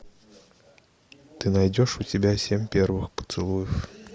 ты найдешь у себя семь первых поцелуев